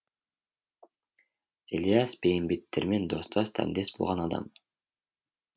ілияс бейімбеттермен достас дәмдес болған адам